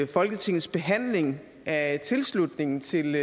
folketingets behandling af tilslutningen til